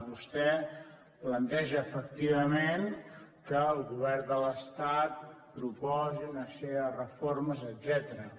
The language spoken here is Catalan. vostè planteja efectivament que el govern de l’estat proposi una sèrie de reformes etcètera